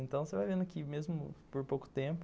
Então você vai vendo aqui, mesmo por pouco tempo,